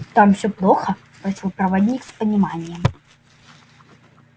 там всё плохо спросил проводник с пониманием